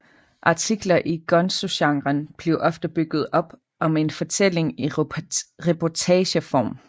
Artikler i gonzogenren er ofte bygget op om en fortælling i reportageform